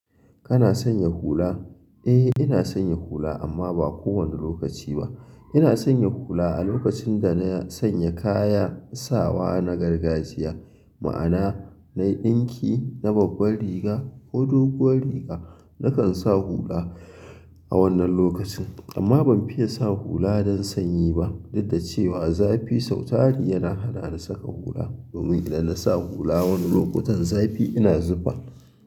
Kana sanya hula? E ina sanya hula amma ba kowane lokaci ba ina sanya hula a lokacin da na sanya kaya sawa na gargajiya. Ma'ana nayi ɗinki na babbar riga ko doguwar riga nakan sa hula a wannan lokacin. Amma ban fiye sa hula don sanyi ba duk da cewa zafi sau tari yana hana ni saka hula domin idan na sa hula wani lokutan zafi ina zufa.